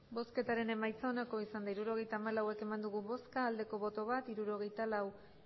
hirurogeita hamalau eman dugu bozka bat bai hirurogeita lau